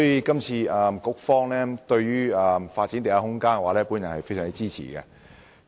故此，對於局方發展地下空間，我非常支持。